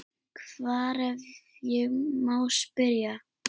Hvar, ef ég má spyrja?